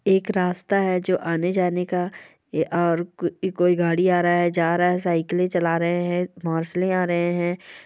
एक रास्ता है जो आने-जाने का और कोई गाड़ी आ रहा है जा रहा है साइकिलिंग चला रहे हैं मोरसाले आ रहे हैं।